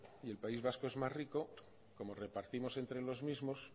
el país vasco es más rico como repartimos entre los mismos